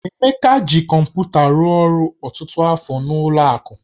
Emeka ji kọmpụta rụọ ọrụ ọtụtụ afọ n'ụlọ akụ